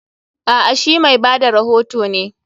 A'a, she mai ba da rohoto ne.